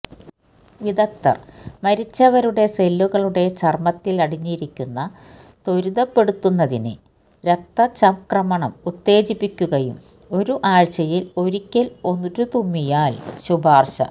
വിദഗ്ധർ മരിച്ചവരുടെ സെല്ലുകളുടെ ചർമ്മത്തിലടിഞ്ഞിരിക്കുന്ന ത്വരിതപ്പെടുത്തുന്നതിന് രക്തം രക്തചംക്രമണം ഉത്തേജിപ്പിക്കുകയും ഒരു ആഴ്ചയിൽ ഒരിക്കൽ ഒരു തിരുമ്മിയാൽ ശുപാർശ